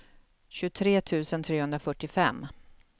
tjugotre tusen trehundrafyrtiofem